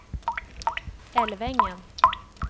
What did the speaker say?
Älvängen